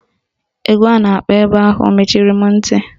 Egwu a na-akpọ ebe ahụ mechiri m ntị